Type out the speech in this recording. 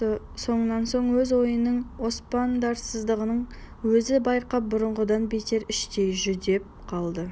сонан соң өз ойының оспадарсыздығын өзі байқап бұрынғыдан бетер іштей жүдеп қалды